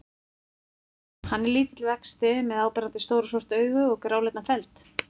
Hann er lítill vexti með áberandi stór og svört augu og gráleitan feld.